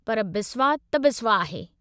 पर बिस्वा त बिस्वा आहे।